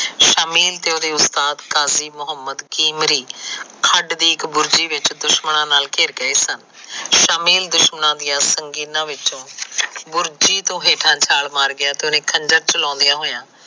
ਸਾਜੀਲ ਤੇ ਉਸਦੇ ਉਸਤਾਦ ਖੰਡ ਦੀ ਇੱਕ ਬੁਰਜੀ ਵਿੱਚ ਦੁਸ਼ਮਣਾ ਨਾਲ ਘਿਰ ਗਏ ਸਨ ਸ਼ਾਮਿਲ ਦੁਸ਼ਮਣਾ ਦੀਆਂ ਵਿੱਚ ਤੋ ਹੇਠਾ ਛਾਲ ਮਾਰ ਗਿਆ ਤੇ ਉਹਨੇ ਖੰਜਰ ਚਲੋਂਦਿਆ ਹੋਇਆ